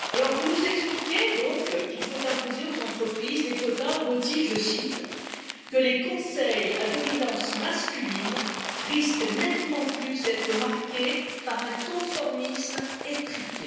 Vous nous expliquez qu'il faut imposer aux entreprises des quotas au motif que les conseils à dominance masculine risquent nettement plus d'être marqués par un conformisme étriqué.